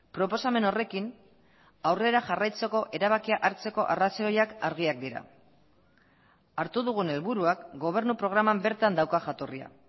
proposamen horrekin aurrera jarraitzeko erabakia hartzeko arrazoiak argiak dira hartu dugun helburuak gobernu programan bertan dauka jatorria